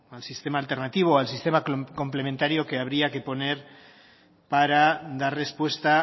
al sistema alternativo al sistema complementario que habría que poner para dar respuesta